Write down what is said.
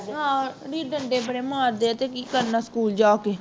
ਹਾਂ ਨੀ ਡੰਡੇ ਬੜੇ ਮਾਰਦੇ ਆ, ਅਤੇ ਕੀ ਕਰਨਾ ਸਕੂਲ ਜਾ ਕੇ,